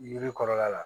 Yiri kɔrɔla la